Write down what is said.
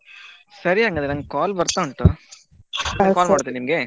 ಹ್ಮ್ ಸರಿ ಹಂಗಾದ್ರೆ ನಂಗೆ call ಬರ್ತಾ ಉಂಟು ಮತ್ತೆ call ಮಾಡ್ತೆ ನಿಮ್ಗೆ .